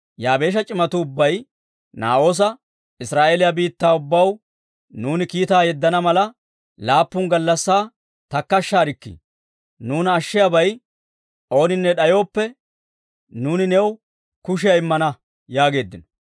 Yaabeesha c'imatuu ubbay Naa'oosa, «Israa'eeliyaa biittaa ubbaw nuuni kiitaa yeddana mala, laappun gallassaa takkashshaarikkii; nuuna ashshiyawe ooninne d'ayooppe, nuuni new kushiyaa immana» yaageeddino.